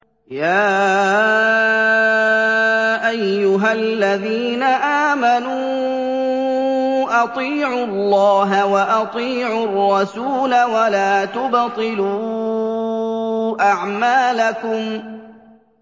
۞ يَا أَيُّهَا الَّذِينَ آمَنُوا أَطِيعُوا اللَّهَ وَأَطِيعُوا الرَّسُولَ وَلَا تُبْطِلُوا أَعْمَالَكُمْ